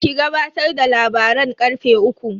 Ki gabatar da labaran karfe uku.